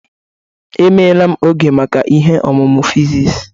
Emeela m oge maka ihe ọmụmụ physics.